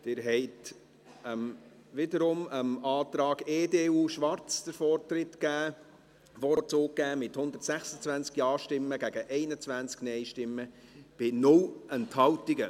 Sie haben wiederum dem Antrag EDU/Schwarz den Vorzug gegeben, mit 126 Ja- gegen 21 Nein-Stimmen bei 0 Enthaltungen.